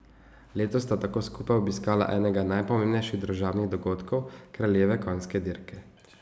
Letos sta tako skupaj obiskala enega najpomembnejših družabnih dogodkov, kraljeve konjske dirke.